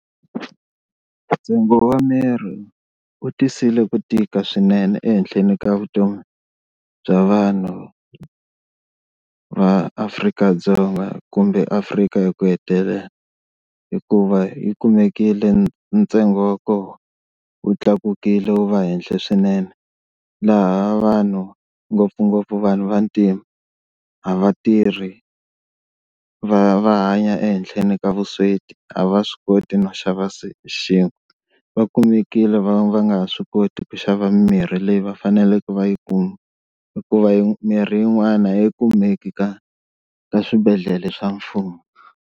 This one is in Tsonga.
Ntsengo wa mirhi wu tisile ku tika swinene ehenhleni ka vutomi bya vanhu va Afrika-Dzonga kumbe Afrika hi ku hetelela hikuva yi kumekile ntsengo wa kona wu tlakukile wu va ehenhla swinene laha vanhu ngopfungopfu vanhu va ntima a va tirhi, va va hanya ehenhleni ka vusweti a va swi koti no xava , va kumekile va va nga ha swi koti ku xava mimirhi leyi va faneleke va yi kuma hikuva yi mirhi yin'wana a yi kumeki ka ka swibedhlele swa mfumo.